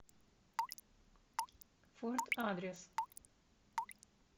форт адрес